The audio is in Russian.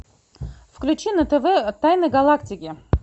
включи на тв тайны галактики